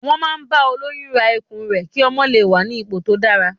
Wọn máa ń bá olóyún ra ikùn rẹ ki ọmọ lè wà ní ipò tó dára.